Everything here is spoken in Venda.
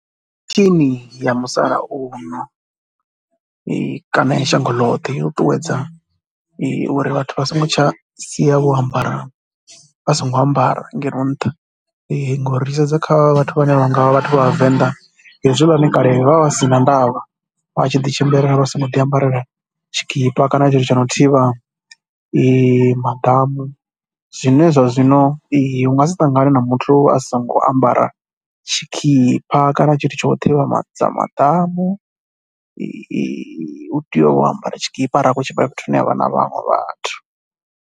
Feshini ya musalauno kana ya shango ḽoṱhe yo ṱuṱuwedza uri vhathu vha songo tsha sia vho ambara, vha songo ambara ngeno nṱha ngauri ri tshi sedza kha vhathu vhane vha nga vha vha thu vha vhavenḓa hezwiḽani kale vho vha vha si na ndavha. Vha tshi ḓi tshimbilela vha songo ḓiambarela tshikhipa kana a tshithu tsho no thivha maḓamu. Zwine zwa zwino u nga si ṱangane na muthu a songo ambara tshikhipa kana tshithu tsho u thivhedza maḓamu, u tea u ambara tshikhipa arali a khou tshimbila fhethu hune ha vha na vhaṅwe vhathu.